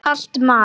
Kalt mat?